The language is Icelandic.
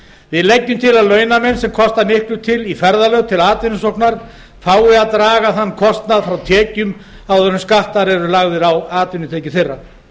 við leggjum til að launamenn sem kosta miklu í ferðalög til atvinnusóknar fá að draga þann kostnað frá tekjum áður en skattar eru lagðir á atvinnutekjur þeirra